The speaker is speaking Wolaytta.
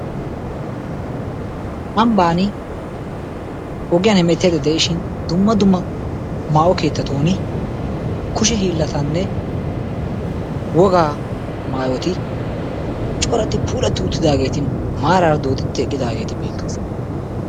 Ambban ogiyan hemettada de'ishin dumma dumma maawo keettatun kushe hiillatanne wogaa maayoti corati puulati uttidaageeti maaraara dooddidi eqqidaageeti beettoosona.